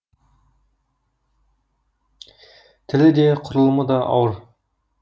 тілі де құрылымы да ауыр